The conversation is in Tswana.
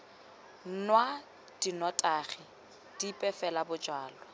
nwa dinotagi dipe fela bojalwa